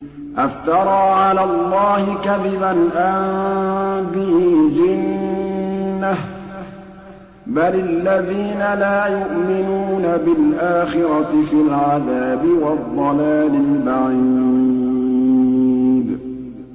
أَفْتَرَىٰ عَلَى اللَّهِ كَذِبًا أَم بِهِ جِنَّةٌ ۗ بَلِ الَّذِينَ لَا يُؤْمِنُونَ بِالْآخِرَةِ فِي الْعَذَابِ وَالضَّلَالِ الْبَعِيدِ